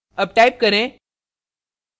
अब type करें